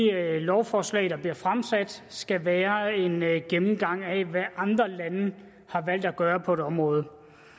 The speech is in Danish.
lovforslag der bliver fremsat skal være en gennemgang af hvad andre lande har valgt at gøre på et område